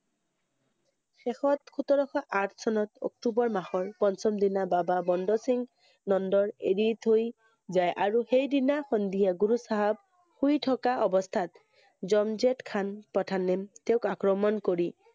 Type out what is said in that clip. শেষত সোতৰশ আঠ চনত অক্টোবৰ মাহৰ পঞ্চম দিনা বাবা বন্দ সিংহ নন্দৰ এৰি থৈ যায় আৰু সেইদিনা সন্ধিয়া গুৰু চাহাব শুই থকা অৱস্থাত জনজেদ খানে প্ৰধানে তেওঁক আক্ৰমণ কৰি